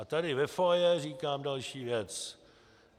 A tady ve foyer říkám další věc.